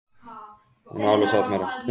Aldey, einhvern tímann þarf allt að taka enda.